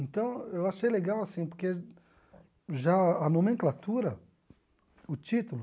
Então, eu achei legal, assim, porque já a nomenclatura, o título...